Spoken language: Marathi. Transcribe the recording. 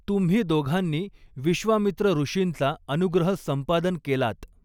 तुम्ही दोघांनी विश्वामित्र ऋषींचा अनुग्रह संपादन केलात.